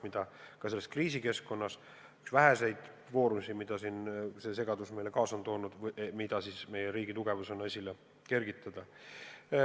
See ongi selles kriisikeskkonnas üks väheseid plusse, mille me selles segaduses saame oma riigi tugevusena esile kergitada.